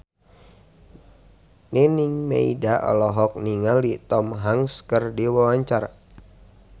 Nining Meida olohok ningali Tom Hanks keur diwawancara